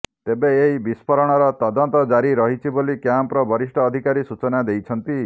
ତେବେ ଏହି ବିସ୍ଫୋରଣର ତଦନ୍ତ ଜାରି ରହିଛି ବୋଲି କ୍ୟାମ୍ପର ବରିଷ୍ଠ ଅଧିକାରୀ ସୂଚନା ଦେଇଛନ୍ତି